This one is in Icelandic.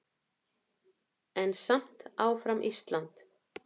En samt áfram Ísland!